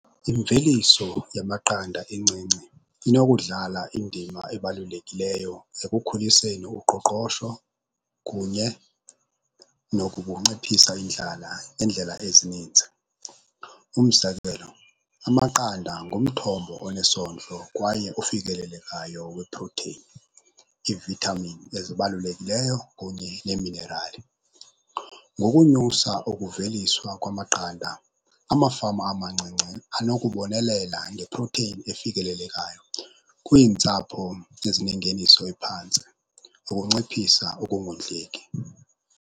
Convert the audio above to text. Imveliso yamaqanda encinci inokudlala indima ebalulekileyo ekukhuliseni uqoqosho kunye nokunciphisa indlala ngendlela ezininzi. Umzekelo, amaqanda ngumthombo onesondlo kwaye ofikelelekayo weprotheyini, iivithamini ezibalulekileyo kunye neeminerali. Ngokunyusa ukuveliswa kwamaqanda, amafama amancinci anokubonelela ngeprotheyini efikelelekayo kwiintsapho ezinengeniso ephantsi nokunciphisa ukungondleki.